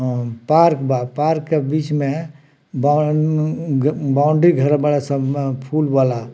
अ park बा park के बीच में बाउ उम्म बाउंडरी घेरे बाड़न स फूल वाला।